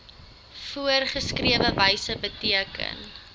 voorgeskrewe wyse beteken